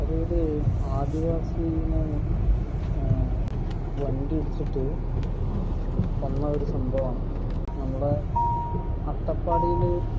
അതൊരു ആദിവാസിനെ വണ്ടി ഇടിച്ചിട്ടു കൊന്ന ഒരു സംഭവമാണ് . നമ്മളെ അട്ടപ്പാടിയിലെ മധുവിന്റെ